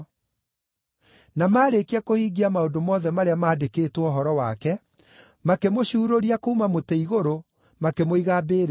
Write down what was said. Na maarĩkia kũhingia maũndũ mothe marĩa maandĩkĩtwo ũhoro wake, makĩmũcurũria kuuma mũtĩ-igũrũ, makĩmũiga mbĩrĩra.